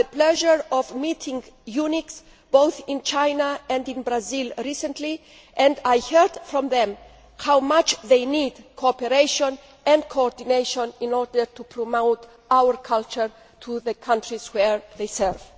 I had the pleasure of meeting EUNICs in both China and Brazil recently and I heard from them how much they need cooperation and coordination in order to promote our culture in the countries where they serve.